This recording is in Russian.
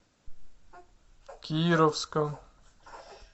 кировском